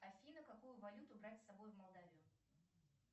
афина какую валюту брать с собой в молдавию